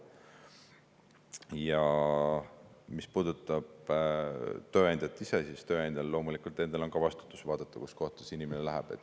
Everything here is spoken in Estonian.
Ja mis puudutab tööandjat, siis tööandjal on loomulikult endal ka vastutus vaadata, kuhu see inimene läheb.